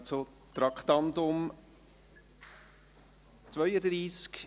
Wir kommen zum Traktandum Nr. 32.